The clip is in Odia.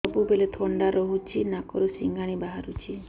ସବୁବେଳେ ଥଣ୍ଡା ରହୁଛି ନାକରୁ ସିଙ୍ଗାଣି ବାହାରୁଚି